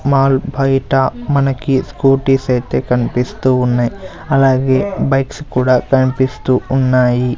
Mall బయట మనకి scooties ఐతే కన్పిస్తూ ఉన్నాయ్ అలాగే బైక్స్ కూడా కనిపిస్తూ ఉన్నాయి.